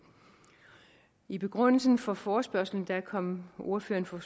i begrundelsen for forespørgslen kom ordføreren for